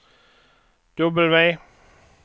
W